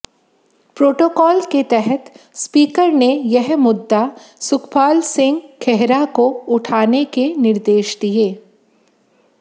protocol के तहत speaker ने यह मुद्दा सुखपाल सिंह खेहरा को उठाने के निर्देश दिए